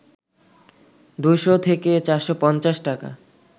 ২শ’ থেকে ৪৫০ টাকা